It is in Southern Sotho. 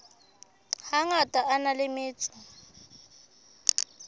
hangata a na le metso